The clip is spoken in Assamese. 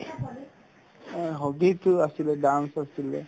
এ hobby তো আছিলে dance আছিলে